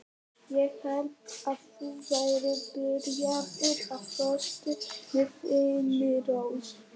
Ég hélt að þú værir byrjaður á föstu með Þyrnirós.